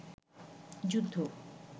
যুদ্ধ